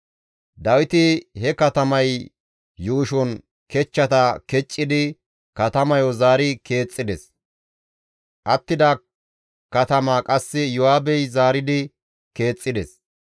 Dawiti he katamay yuushon kechchata keccidi katamayo zaari keexxides; attida katamaa qasse Iyo7aabey zaaridi keexxides.